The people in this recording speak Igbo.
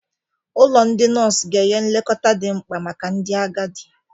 Ụlọ ndị nọọsụ ga-enye nlekọta dị mkpa maka ndị agadi.